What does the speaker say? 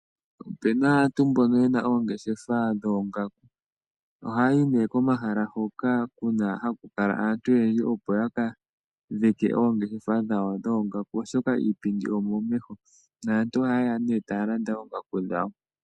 Opena aantu mbono yena oongeshefa dhoongaku . Oha yayi nee komahala hoka haku kala aantu oyendji opo yaka dhike oongeshefa dhawo dhoongaku oshoka iipindi omomeho naantu oha yeya nee taya landa oongaku dhawo.